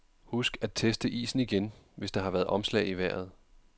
Husk at teste isen igen, hvis der har været omslag i vejret.